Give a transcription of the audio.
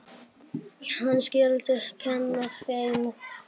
Hann skyldi kenna þeim.